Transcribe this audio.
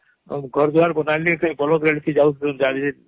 ;ଘର ଦ୍ୱାର ବନାଲିହମ୍.କି ବଳଦ ଗାଡ଼ିରେ କି ଯାଉଥିଲେ